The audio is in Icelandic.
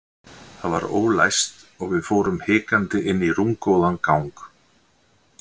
Það var ólæst og við fórum hikandi inn í rúmgóðan gang.